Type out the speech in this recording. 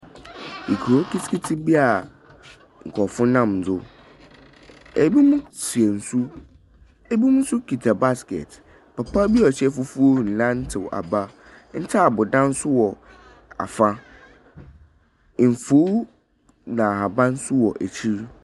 Ekurow kiti kiti bi a nkrɔfo nam do. Ebi mo sua nsu, ebi mo so kita baskɛt, papa bi a ɔhyɛ fufuw renantew aba. Ntaabu dan so wɔ afa, nsuw na ahaban so wɔ akyir.